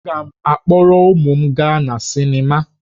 Aga m akpọrọ ụmụ m gaa na sịnịma